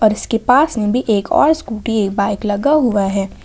इसके पास में भी एक और स्कूटी एक बाइक लगा हुआ है।